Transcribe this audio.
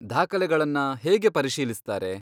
ದಾಖಲೆಗಳನ್ನ ಹೇಗೆ ಪರಿಶೀಲಿಸ್ತಾರೆ?